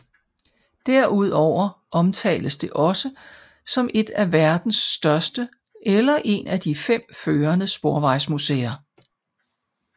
Derudover omtales det også som et af verdens største eller en af de fem førende sporvejsmuseer